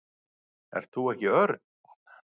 Ert þú ekki Örn?